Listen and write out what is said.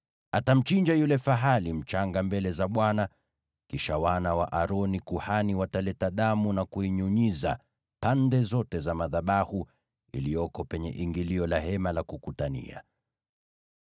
Atamchinja yule fahali mchanga mbele za Bwana , kisha wana wa Aroni walio makuhani wataleta damu na kuinyunyiza pande zote za madhabahu yaliyo penye ingilio la Hema la Kukutania.